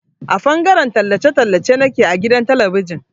A fangaren tallace tallace nake a gidan talabijin.